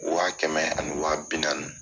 Wa kɛmɛ ani wa bi naani.